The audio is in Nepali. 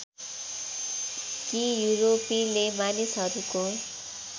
कि यूरोपेली मानिसहरूको